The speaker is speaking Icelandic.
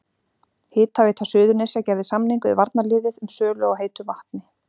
Hitaveita Suðurnesja gerði samning við varnarliðið um sölu á heitu vatni.